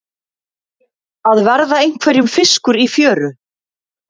Að verða einhverjum fiskur í fjöru